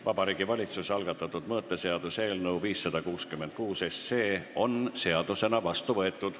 Vabariigi Valitsuse algatatud mõõteseaduse eelnõu 566 on seadusena vastu võetud.